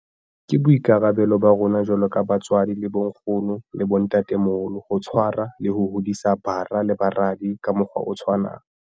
Ke boikarabelo ba rona jwalo ka batswadi le bonkgono le bontatemoholo ho tshwarwa le ho hodisa bara le baradi ka mokgwa o tshwanang.